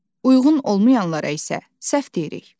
Uyğun olmayanlara isə səhv deyirik.